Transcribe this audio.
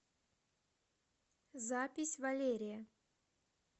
запись валерия